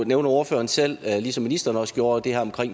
nævner ordføreren selv ligesom ministeren også gjorde det her om